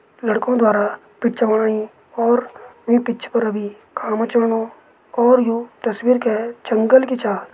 लड़कों द्वारा पिच्च बणाईं और ई पिच पर अबि काम चलणु और यू तस्वीर कै जंगल कि छा।